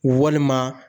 Walima